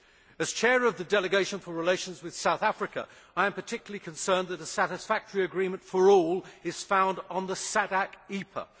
As Chair of the Delegation for relations with South Africa, I am particularly concerned that a satisfactory agreement for all is found on the SADC EPA.